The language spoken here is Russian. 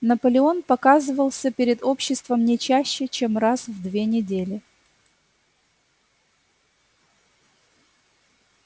наполеон показывался перед обществом не чаще чем раз в две недели